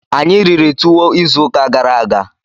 Anyị riri tuwo izu ụka gara aga.